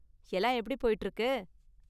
எல்லாம் எப்படி போயிட்டு இருக்கு?